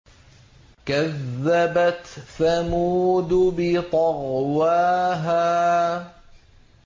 كَذَّبَتْ ثَمُودُ بِطَغْوَاهَا